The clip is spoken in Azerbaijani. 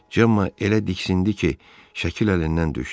Cemma elə diksindi ki, şəkil əlindən düşdü.